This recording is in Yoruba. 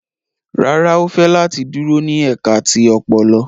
Rárá, o fẹ lati duro ni ẹka ti ọpọlọ